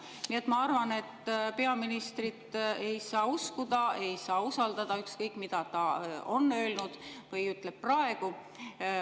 Nii et ma arvan, et peaministrit ei saa uskuda, ei saa usaldada, ükskõik, mida ta on öelnud või ütleb praegu.